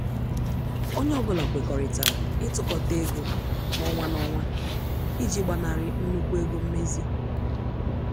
Onye ọ bụla kwekọrịtara itukota ego n' ọnwa n' ọnwa iji gbanari nnukwu ego mmezi.